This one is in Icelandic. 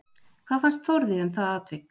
Hvað fannst Þórði um það atvik?